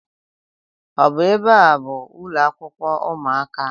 Ọ bụ ebe a bụ ụlọakwụkwọ ụmụaka?